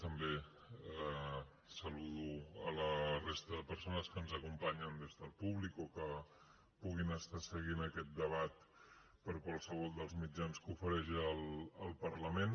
també saludo la resta de persones que ens acompanyen des del públic o que puguin estar seguint aquest debat per qualsevol dels mitjans que ofereix el parlament